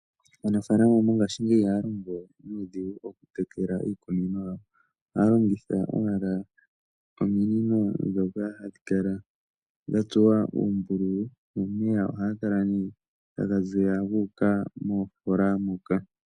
Aanafaalama mongaashingeyi, ihaya longo nuudhigu oku tekela iikunino. Oha ya longitha owala ominino dhoka hadhi kala dha tsuwa uumbululu, nomeya oha ga kala nee taga ziya guuka moofola moka.